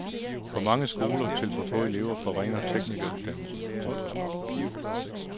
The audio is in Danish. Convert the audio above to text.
For mange skoler til for få elever forringer teknikeruddannelserne. punktum